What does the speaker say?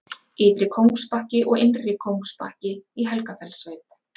Ytri-Kóngsbakki og Innri-Kóngsbakki í Helgafellssveit.